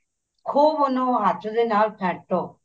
ਖੂਬ ਉਹਨੂੰ ਹੱਥ ਦੇ ਨਾਲ ਫੇਂਟੋ